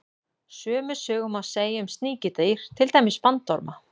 Sömu sögu má segja um sníkjudýr, til dæmis bandorma.